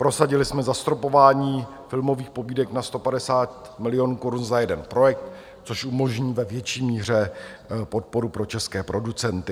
Prosadili jsme zastropování filmových pobídek na 150 milionů korun za jeden projekt, což umožní ve větší míře podporu pro české producenty.